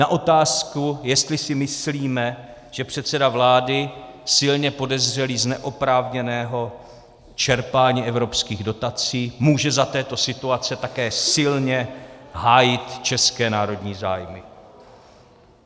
na otázku, jestli si myslíme, že předseda vlády silně podezřelý z neoprávněného čerpání evropských dotací může za této situace také silně hájit české národní zájmy.